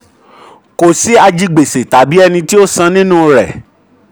25. ìwé owó ilẹ̀ òkèèrè ni òkèèrè ni um owó tó wọlé india.